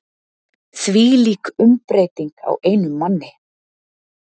Þvílík umbreyting á einum manni.